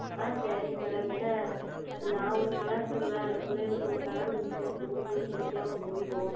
ஆஹ் Okay ஆஹ் சரிங்கள் Madam ஏனால் நான் ஓர் Color சொல்லுவேன் அந்த பிள்ளைகளுக்கு ஓர் Color பிடிக்கும் பிடிக்கும் பிடிக்காமல் போய் விடும்